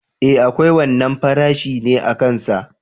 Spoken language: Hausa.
E akwai wannan farashi ne akan sa.